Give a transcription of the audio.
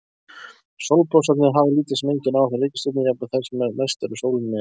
Sólblossarnir hafa lítil sem engin áhrif á reikistjörnurnar, jafnvel þær sem næstar sólinni eru.